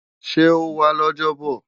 Ṣé ó wá lọ́jọ́bọ̀?